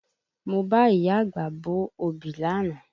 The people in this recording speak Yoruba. Mo bá ìyá àgbà bo òbí lánàá